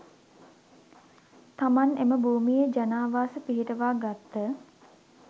තමන් එම භූමියේ ජනාවාශ පිහිටුවා ගත්ත